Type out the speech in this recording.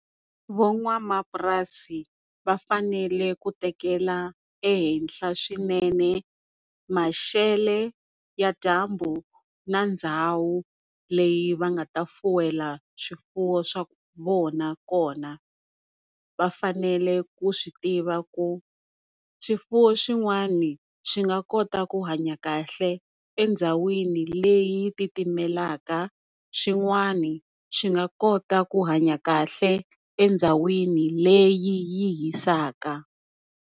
Van'wamapurasi va fanele ku tekela ehenhla swinene maxelo ya dyambu na ndhawu leyi va nga fuwela swifuwo swa vona kona. Vafanele ku swi tiva ku swifuwo swin'wani swi nga kota ku hanya kahle endhawini leyi titimelaka xin'wani xi nga kota ku hanya kahle endhawini leyi hisaka.